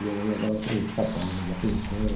E ela lavava para os rapazes da pensão.